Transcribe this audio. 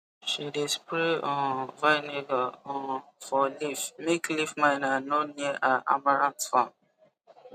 she dey spray um vinegar um for leaf make leaf miner no near her amaranth farm